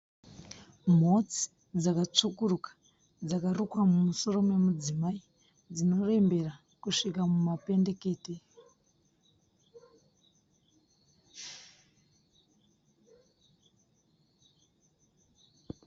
Mhotsi dzakatsvukuruka dzakarukwa mumusoro memudzimai dzinorembera kusvika mumapendekete.